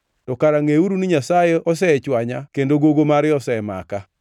to kara ngʼeuru ni Nyasaye osechwanya kendo gogo mare osemaka.